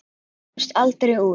Ég komst aldrei út.